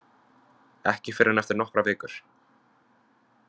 Ekki fyrr en eftir nokkrar vikur.